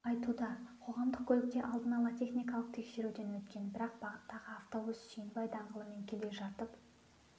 айтуда қоғамдық көлік те алдын-ала техникалық тексеруден өткен бірақ бағыттағы автобус сүйінбай даңғылымен келе жатып